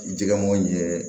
Jɛgɛ mugu ɲɛ